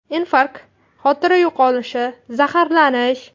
Infarkt, xotira yo‘qolishi, zaharlanish.